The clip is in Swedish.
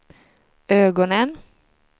ögonen